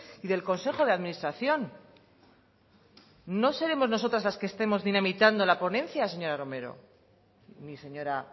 y del consejo de administración no seremos nosotras las que estemos dinamitando la ponencia señora romero ni señora